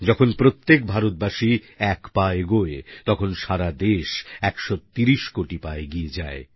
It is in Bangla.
যখন প্রত্যেক ভারতবাসী এক পা এগোয় তখন সারাদেশ 130 কোটি পা এগিয়ে যায়